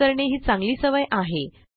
save करणे ही चांगली सवय आहे